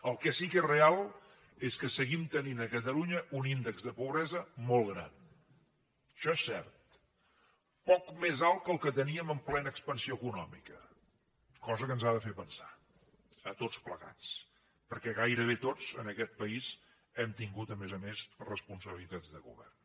el que sí que és real és que seguim tenint a catalunya un índex de pobresa molt gran això és cert poc més alt que el que teníem en plena expansió econòmica cosa que ens ha de fer pensar a tots plegats perquè gairebé tots en aquest país hem tingut a més a més responsabilitats de govern